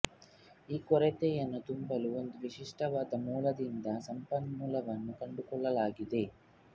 ಈ ಕೊರತೆಯನ್ನು ತುಂಬಲು ಒಂದು ವಿಶಿಷ್ಟವಾದ ಮೂಲದಿಂದ ಸಂಪನ್ಮೂಲವನ್ನು ಕಂಡುಕೊಳ್ಳಲಾಗಿದೆ